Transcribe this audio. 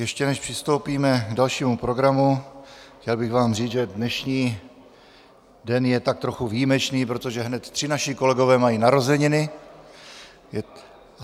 Ještě než přistoupíme k dalšímu programu, chtěl bych vám říct, že dnešní den je tak trochu výjimečný, protože hned tři naši kolegové mají narozeniny.